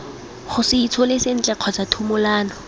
gose itshole sentle kgotsa thumolano